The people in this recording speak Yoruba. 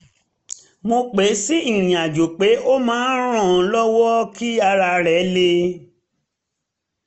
mo pè é sí ìrìnàjò pé ó máa ran an lọ́wọ́ kí ara rẹ̀ le